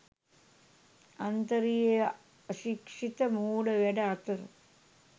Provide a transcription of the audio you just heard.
අන්තරයේ අශික්ෂිත මෝඩ වැඩ අතර